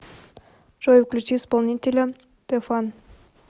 джой включи исполнителя дэфан